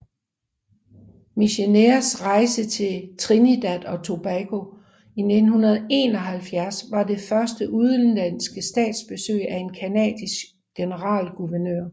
Micheners rejse til Trinidad og Tobago i 1971 var det første udenlandske statsbesøg af en canadisk generalguvernør